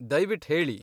ದಯ್ವಿಟ್ ಹೇಳಿ.